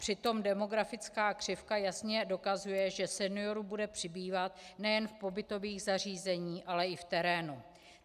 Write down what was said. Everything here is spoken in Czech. Přitom demografická křivka jasně dokazuje, že seniorů bude přibývat nejen v pobytových zařízeních, ale i v terénu.